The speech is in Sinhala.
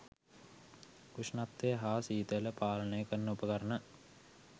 උෂ්ණත්වය හා සීතල පාලනය කරන උපකරණ